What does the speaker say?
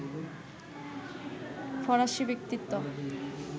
ফরাসী ব্যক্তিত্ব